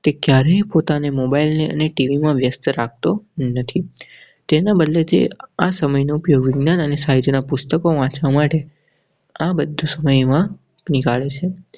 ક્યારે પોતાને મોબાઇલ અને ટીવીમાં વ્યસ્ત રાખતો નથી. તેના બદલે તે આ સમય નો ઉપયોગ જમીન ઉપયોગ અને સાહિત્યના પુસ્તકો વાચવા માટે આ બધો સમય માં નીકળે છે.